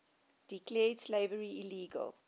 declared slavery illegal